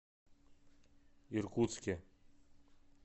иркутске